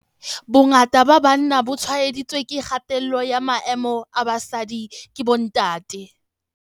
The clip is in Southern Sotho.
"Bongata ba banna bo tshwaeditswe ke kgatello ya maemo a basadi ke bontate."